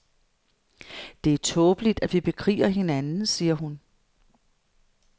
Det er tåbeligt, at vi bekriger hinanden, siger hun.